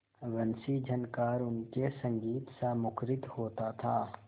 वंशीझनकार उनके संगीतसा मुखरित होता था